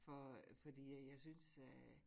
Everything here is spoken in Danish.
For fordi at jeg synes at